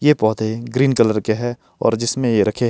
ये पौधे green colour के है और जिसमें ये रखें--